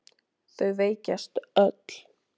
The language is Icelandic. Þau veikjast öll.